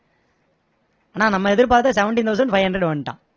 ஆனா நம்ம எதிர்பார்த்த seventeen thousand five hundred வந்துட்டான்